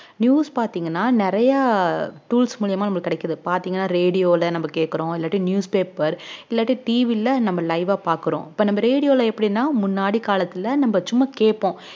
news பாத்தீங்கன்னா நிறைய tools மூலியமா நமக்கு கிடைக்குது பாத்தீங்கன்னா radio ல நம்ம கேட்கிறோம் இல்லாட்டி newspaper இல்லாட்டி TV ல நம்ம live ஆ பார்க்கிறோம் இப்ப நம்ம radio ல எப்படின்னா முன்னாடி காலத்துல நம்ம சும்மா கேட்போம்